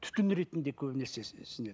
түтін ретінде көбінесе сіңеді